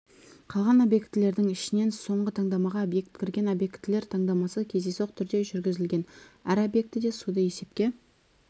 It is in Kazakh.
қалған объектілердің ішінен соңғы таңдамаға объект кірген объектілер таңдамасы кездейсоқ түрде жүргізілген әр объектіде суды есепке